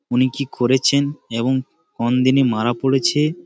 উনি কি করেছেন এবং কোন দিনে মারা পড়েছে।